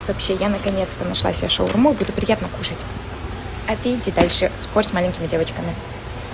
вообще я наконец-то нашла себе шаурму буду приятно кушать а ты иди дальше спорь с маленькими девочками